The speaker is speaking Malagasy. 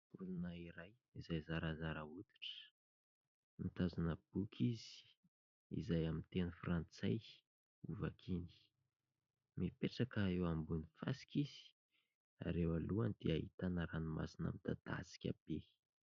Olona iray izay zarazara hoditra, mitazona boky izy izay amin'ny teny frantsay ho vakiany, mipetraka eo ambony fasika izy ary eo alohany dia ahitana ranomasina midadasika be.